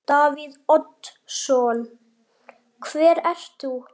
Davíð Oddsson: Hver ert þú?